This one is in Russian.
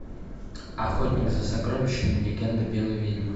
охотник за сокровищами легенда белой ведьмы